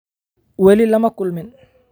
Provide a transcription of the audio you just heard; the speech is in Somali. Wali lama kulmin